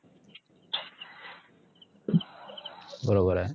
बरोबर आहे